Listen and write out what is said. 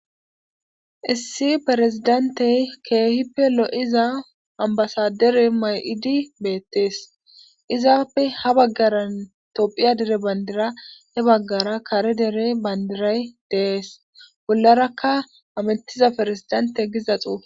issi perezidantey keehippe lo7iza ambasadere may7idi beettees izaappe ha baggaran toophiya dere bandira he baggara kare dere bandiray deees bollarakka amintiza ferezidante giza xuuf